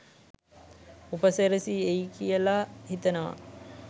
උපසිරැසි එයි කියලා හිතනවා.